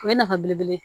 O ye nafa belebele ye